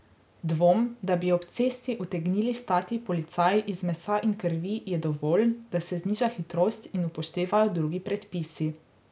Dvom, da bi ob cesti utegnili stati policaji iz mesa in krvi, je dovolj, da se zniža hitrost in upoštevajo drugi predpisi.